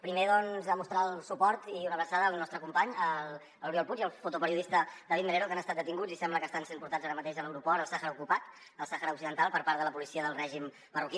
primer doncs mostrar el suport i una abraçada al nostre company l’oriol puig i al fotoperiodista david melero que han estat detinguts i sembla que estan sent portats ara mateix a l’aeroport al sàhara ocupat el sàhara occidental per part de la policia del règim marroquí